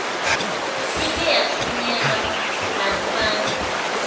ike yathunyelwa nakubantu